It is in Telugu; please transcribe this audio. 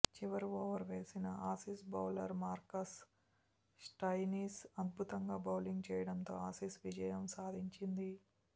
చివరి ఓవర్ వేసిన ఆసీస్ బౌలర్ మార్కస్ స్టోయినిస్ అద్భుతంగా బౌలింగ్ చేయడంతో ఆసీస్ విజయం సాధించింది